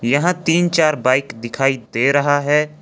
यहां तीन चार बाइक दिखाई दे रहा है।